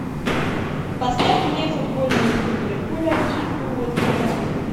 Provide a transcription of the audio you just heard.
поставь мне футбольную игру ливерпуля и уотфорда